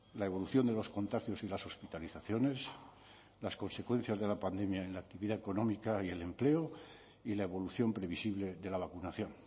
la evolución de los contagios y las hospitalizaciones las consecuencias de la pandemia en la actividad económica y el empleo y la evolución previsible de la vacunación